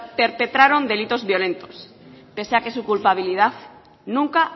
perpetraron delitos violentos pese a que su culpabilidad nunca